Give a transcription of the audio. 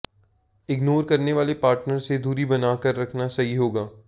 ignore करने वाले partner से दूरी बना कर रखना सही होगा